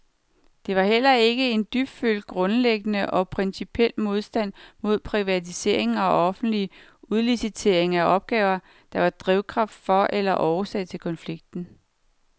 Det var heller ikke en dybfølt, grundlæggende og principiel modstand mod privatisering og offentlig udlicitering af opgaver, der var drivkraft for eller årsag til konflikten.